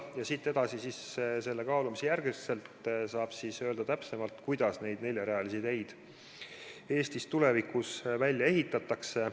Ja pärast seda kaalumist saab siis täpsemalt öelda, kuidas neid neljarealisi teid Eestis tulevikus välja ehitatakse.